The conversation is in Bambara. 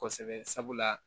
Kosɛbɛ sabula